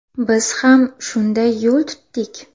Biz ham shunday yo‘l tutdik.